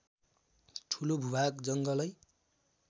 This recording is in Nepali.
ठूलो भूभाग जङ्गलै